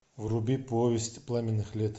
вруби повесть пламенных лет